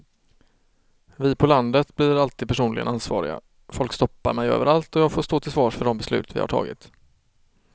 Vi på landet blir alltid personligen ansvariga, folk stoppar mig överallt och jag får stå till svars för de beslut vi har tagit.